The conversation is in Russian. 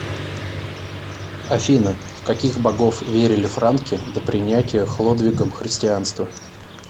афина в каких богов верили франки до принятия хлодвигом христианства